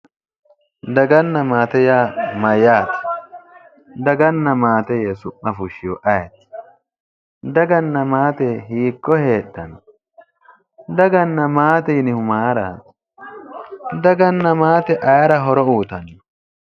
Daganna maate yaa mayyaate? Daganna maate yee su'ma fushshihu ayeeti? Daganna maate hiiko heedhanno? Daganna maate yinihu mayiraati? Daganna maate ayira horo uyitanno?